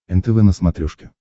нтв на смотрешке